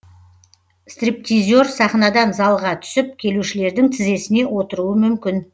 стриптизер сахнадан залға түсіп келушілердің тізесіне отыруы мүмкін